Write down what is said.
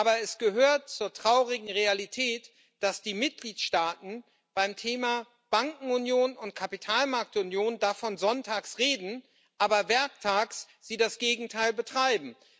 Aber es gehört zur traurigen Realität, dass die Mitgliedstaaten beim Thema Bankenunion und Kapitalmarktunion davon sonntags reden, aber werktags das Gegenteil betreiben.